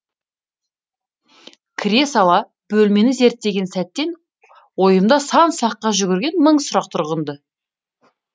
кіре сала бөлмені зерттеген сәттен ойымда сан саққа жүгірген мың сұрақ тұрған ды